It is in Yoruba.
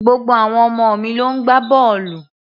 Gbogbo àwọn ọmọ mi ló ń gbá bọ́ọ̀lù